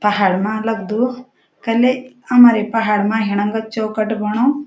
पहाड़ मा लगदू कने हमारे पहाड़ मा हिणंग चौकट बणौ।